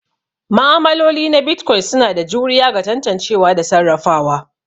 Ma'amaloli na Bitcoin suna da juriya ga tantancewa da sarrafawa.